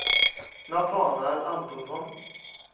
Natanael Antonsson